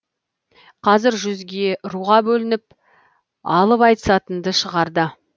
қазір жүзге руға бөлініп алып айтысатынды шығарды